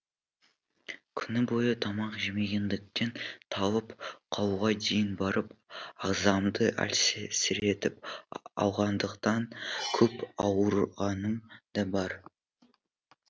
күні бойы тамақ жемегендіктен талып қалуға дейін барып ағзамды әлсіретіп алғандықтан көп ауырғаным да бар